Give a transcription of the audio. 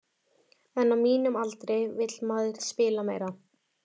En á mínum aldri vill maður spila meira.